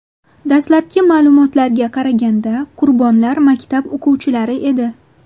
Dastlabki ma’lumotlarga qaraganda, qurbonlar maktab o‘quvchilari edi.